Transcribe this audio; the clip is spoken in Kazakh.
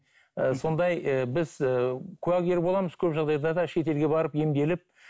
ыыы сондай і біз і куәгер боламыз көп жағдайда да шетелге барып емделіп